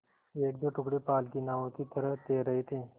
एकदो टुकड़े पाल की नावों की तरह तैर रहे थे